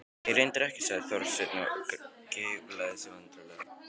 Nei, reyndar ekki sagði Þorsteinn og geiflaði sig vandræðalega.